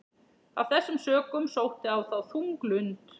Af þessum sökum sótti á þá þung lund.